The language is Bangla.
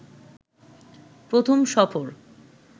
প্রথম সফর